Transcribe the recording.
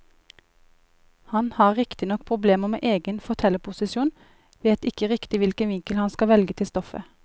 Han har riktignok problemer med egen fortellerposisjon, vet ikke riktig hvilken vinkel han skal velge til stoffet.